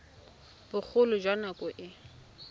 bogolo jwa nako e e